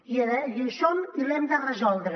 i hi som i l’hem de resoldre